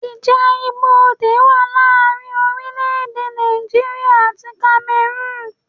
Ìjà ibodè wa láàrin orílẹ̀ èdè Nàìjíríà àti Kamerun